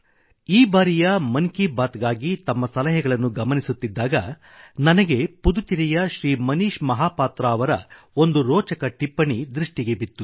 ಈ ಬಾರಿಯ ಮನ್ ಕೀ ಬಾತ್ಗಾಗಿ ತಮ್ಮ ಸಲಹೆಗಳನ್ನು ಗಮನಿಸುತ್ತಿದ್ದಾಗ ನನಗೆ ಪುದುಚೇರಿಯ ಶ್ರೀ ಮನೀಶ್ ಮಹಾಪಾತ್ರ ಅವರ ಒಂದು ರೋಚಕ ಟಿಪ್ಪಣಿ ದೃಷ್ಟಿಗೆ ಬಿತ್ತು